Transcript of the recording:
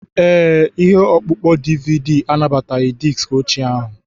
Ee, ihe ọkpụkpọ DVD anabataghị diski ochie ahụ.